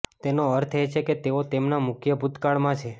તેનો અર્થ એ કે તેઓ તેમના મુખ્ય ભૂતકાળમાં છે